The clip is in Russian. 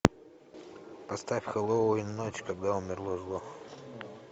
поставь хэллоуин ночь когда умерло зло